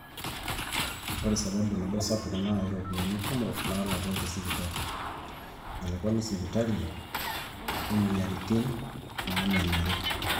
ore sababu nabo sapuk naa iropiyiani kumok naalaki tesipitali, elakwani esipitali, omweyiaritin naamenarri